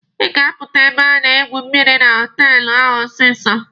Ị ga-apụta ebe a na-egwu mmịrị na họtelụ ahụ ọsịsọ!